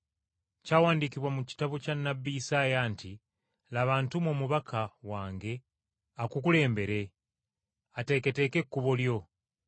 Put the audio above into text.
Kyawandiikibwa mu kitabo kya nnabbi Isaaya nti, “Laba ntuma omubaka wange akukulembere, ateeketeeke ekkubo lyo;